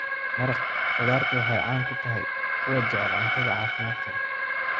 Maraq khudaartu waxay caan ku tahay kuwa jecel cuntada caafimaadka leh.